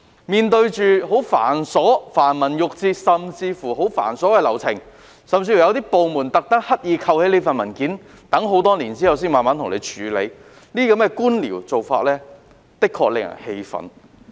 面對着繁文縟節及繁瑣的流程，有些部門甚至刻意收起相關文件，待很多年後才慢慢處理，這些官僚做法的確令人氣憤。